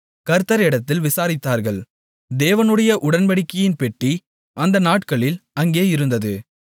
கர்த்தரிடத்தில் விசாரித்தார்கள் தேவனுடைய உடன்படிக்கையின் பெட்டி அந்த நாட்களில் அங்கே இருந்தது